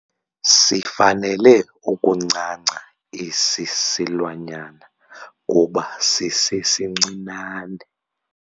Sifanele ukuncanca esi silwanyana kuba sisesincinane.